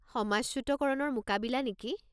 সমাজচ্যুতকৰণৰ মোকাবিলা নেকি?